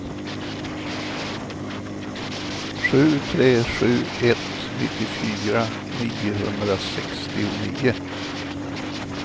sju tre sju ett nittiofyra niohundrasextionio